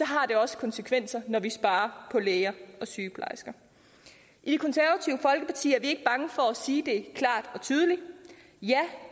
har det også konsekvenser når vi sparer på læger og sygeplejersker i det konservative folkeparti er vi ikke bange for at sige det klart og tydeligt ja